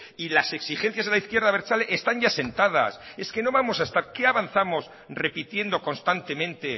y las exigencias a la izquierda abertzale están ya sentadas qué avanzamos repitiendo constantemente